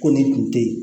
Ko nin kun tɛ yen